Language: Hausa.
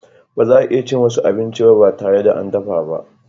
Baza a iya cin wasu abinci ba tare da an dafa ba.